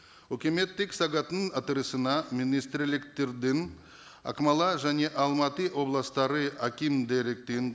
үкіметтік сағаттың отырысына министрліктердің ақмола және алматы облыстары